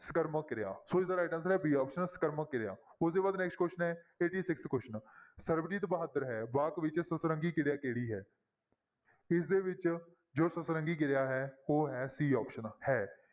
ਸਕਰਮਕ ਕਿਰਿਆ ਸੋ ਇਸਦਾ right answer ਹੈ b option ਸਕਰਮਕ ਕਿਰਿਆ ਉਹ ਤੋਂ ਬਾਅਦ next question ਹੈ eighty-sixth question ਸਰਬਜੀਤ ਬਹਾਦਰ ਹੈ ਵਾਕ ਵਿੱਚ ਸਤਰੰਗੀ ਕਿਰਿਆ ਕਿਹੜੀ ਹੈ ਇਸਦੇ ਵਿੱਚ ਜੋ ਸਤਰੰਗੀ ਕਿਰਿਆ ਹੈ ਉਹ ਹੈ c option ਹੈ